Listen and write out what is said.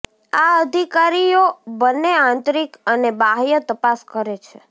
આ અધિકારીઓ બંને આંતરિક અને બાહ્ય તપાસ કરે છે